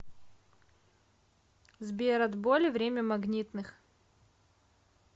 сбер от боли время магнитных